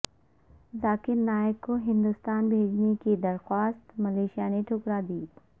ذاکر نائک کو ہندوستان بھیجنے کی درخواست ملائشیا نے ٹھکرادی